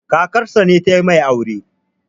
kakarsa ce ta yi masa aure